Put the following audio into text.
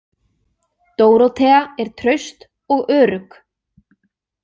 Dórótea er traust og örugg.